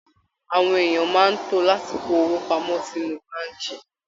Àwọn èèyàn máa ń to láti kó owó pamọ́ sinú báànkì